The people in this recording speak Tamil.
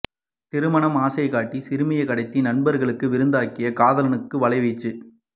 திருமண ஆசை காட்டி சிறுமியை கடத்தி நண்பர்களுக்கு விருந்தாக்கிய காலனுக்கு வலைவீச்சு